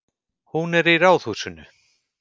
Hún er í Ráðhúsinu.